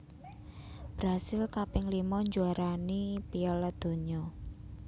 Brasil kaping lima njuaarani Piala Donya